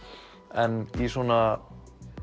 en í svona